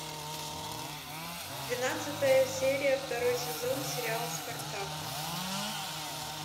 двенадцатая серия второй сезон сериал спартак